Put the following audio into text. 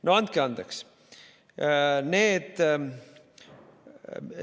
No andke andeks!